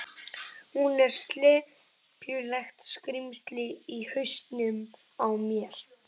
Hún er slepjulegt skrímsli í hausnum á mér.